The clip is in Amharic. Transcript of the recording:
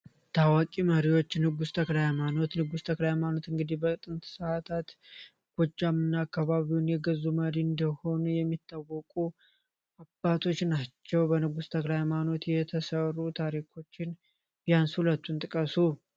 ታዋቂ መሪዎች ንጉስ ተክለሀይማኖት ንጉስ ተክለሀይማኖትእንግዲህ በጥንት ሰዕታት ጎጃ ምና አካባቢውን የገዙ መሪ እንደሆኑ የሚታወቁ አባቶች ናቸው፡፡ በንጉስ ተክራሃይማኖት የተሰሩ ታሪኮችን ቢያንስ ሁለቱን ጥቀሱ?